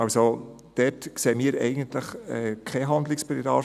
Eigentlich sehen wir dort also eigentlich keinen Handlungsbedarf.